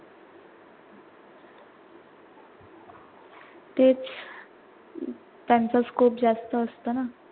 तेच अं त्यांचा scope जास्त असत ना